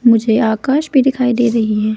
मुझे आकाश भी दिखाई दे रही है।